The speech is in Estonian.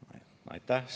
Aitäh!